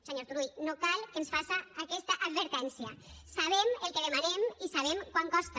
senyor turull no cal que ens faça aquesta advertència sabem el que demanem i sabem quant costa